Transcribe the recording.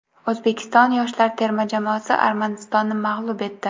O‘zbekiston yoshlar terma jamoasi Armanistonni mag‘lub etdi.